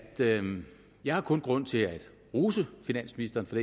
jeg kun har grund til at rose finansministeren for